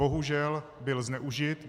Bohužel byl zneužit.